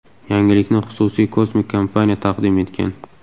Yangilikni xususiy kosmik kompaniya taqdim etgan.